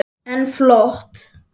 En flott!